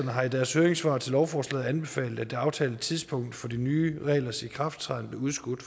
har i deres høringssvar til lovforslaget anbefalet at det aftalte tidspunkt for de nye reglers ikrafttræden bliver udskudt